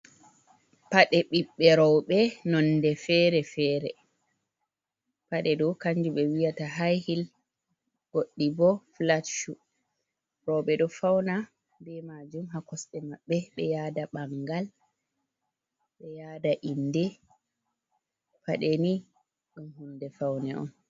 "Pade ɓiɓɓe roɓe" nonde fere fere paɗe ɗo kanjum ɓe wiyata haihil goɗɗi bo flat shu roɓe ɗo fauna be majum ha kosɗe maɓɓe ɓe yada ɓangal be yada inde paɗe ni ɗum hunde faune on.